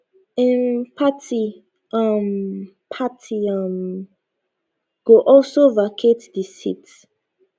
im party um party um go also vacate di seat